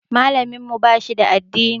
Malamin mu ba shi da addini.